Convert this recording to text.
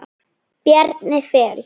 Kæri félagi.